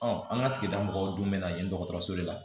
an ka sigida mɔgɔw don mɛ na yen dɔgɔtɔrɔso de la